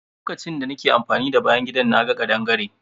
Lokacin da nake amfani da bayan gidan, na ga kaɗangare.